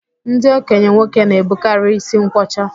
Ndị okenye nwoke na-ebukarị ísí nkwọcha